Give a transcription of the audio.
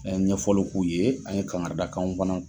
An ye ɲɛfɔli k'u ye ,an ye kangaridakanw fana